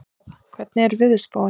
Ríkharð, hvernig er veðurspáin?